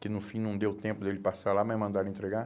Que no fim não deu tempo dele passar lá, mas mandaram entregar.